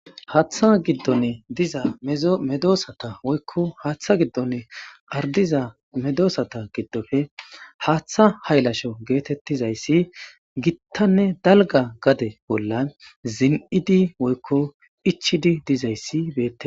haaththa giddonne diza medoosata woykko haaththa giddonne ardiza medoosata giddofe haaththa haylasho geetettizayssi gittanne dalga gade bolla zin7idi woykko ichidi dizayssi beette